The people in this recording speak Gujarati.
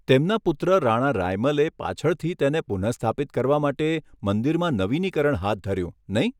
તેમના પુત્ર રાણા રાયમલે પાછળથી તેને પુનઃસ્થાપિત કરવા માટે મંદિરમાં નવીનીકરણ હાથ ધર્યું, નહીં?